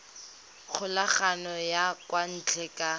kgokagano ya kwa ntle ka